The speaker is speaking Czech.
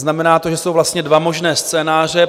Znamená to, že jsou vlastně dva možné scénáře.